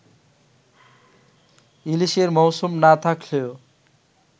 ইলিশের মৌসুম না থাকলেও